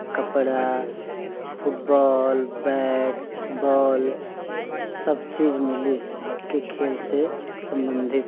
कपड़ा फुटबालबैटबॉल सब चीज़ मिली आपके खेल से सम्बन्धित।